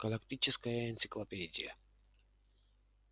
галактическая энциклопедия